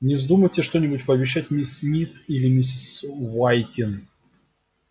не вздумайте что-нибудь пообещать мисс мид или миссис уайтин